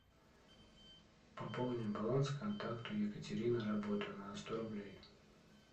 пополним баланс контакту екатерина работа на сто рублей